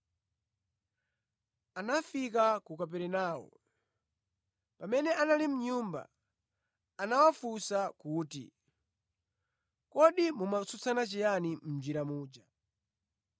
Anafika ku Kaperenawo. Pamene anali mʼnyumba, anawafunsa kuti, “Kodi mumatsutsana chiyani mʼnjira muja?”